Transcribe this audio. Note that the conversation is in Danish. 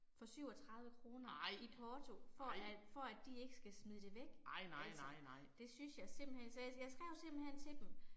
Ej, ej. Ej nej nej nej